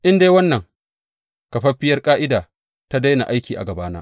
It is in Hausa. In dai wannan kafaffiyar ƙa’ida ta daina aiki a gabana,